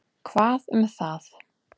Hvað um það.